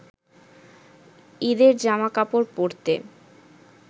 ঈদের জামা কাপড় পরতে